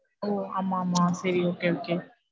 ஓ ஆமா, ஆமா சரி okay, okay.